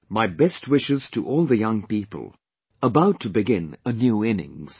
My best wishes to all the young people about to begin a new innings